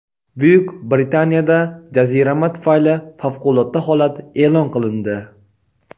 Buyuk Britaniyada jazirama tufayli favqulodda holat e’lon qilindi.